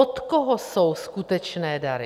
Od koho jsou skutečné dary?